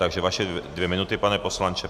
Takže vaše dvě minuty, pane poslanče.